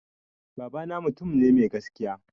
Baba na mutum ne mai gaskiya